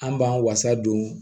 An b'an fasa don